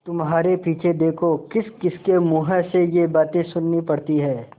तुम्हारे पीछे देखो किसकिसके मुँह से ये बातें सुननी पड़ती हैं